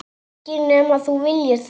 Ekki nema þú viljir það.